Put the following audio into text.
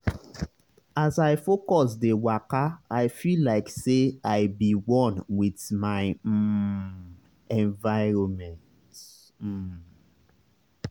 as i focus dey wakai feel like say i be one with my um environment. um